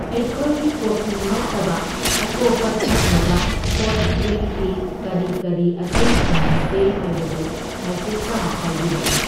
ꯑꯩꯈꯣꯏꯒꯤ ꯀꯣꯐꯤ ꯅꯠꯇꯕ ꯑꯇꯣꯞꯄ ꯊꯛꯅꯕ ꯍꯣꯠ ꯗ꯭ꯔꯤꯡꯛꯇꯤ ꯀꯔꯤ ꯀꯔꯤ ꯑꯇꯩ ꯐꯪꯕꯤꯒꯦ ꯍꯥꯢꯕꯗꯨ ꯍꯥꯏꯐꯦꯠꯇꯪ ꯍꯥꯏꯕꯤꯔꯛꯎ꯫